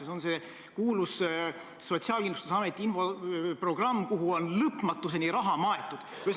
See on see kuulus Sotsiaalkindlustusameti infoprogramm, kuhu on lõpmatuseni raha maetud.